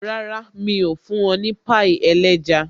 Rárá, mi ò fún ọ ní pie ẹlẹ́ja